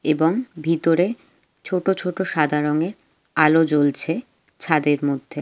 এবং ভিতরে ছোট ছোট সাদা রঙের আলো জ্বলছে ছাদের মধ্যে।